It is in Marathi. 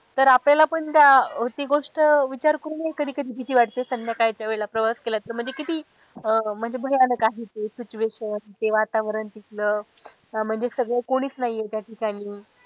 तर आपल्याला पण त्या ती गोष्ट विचार करून हि कधी कधी भीती वाटते संध्याकाळच्या वेळेला प्रवास केला तर म्हणजे किती अह म्हणजे भयानक आहे ते situation ते वातावरण तिथलं म्हणजे सगळं कोणीच नाहीए त्या ठिकाणी.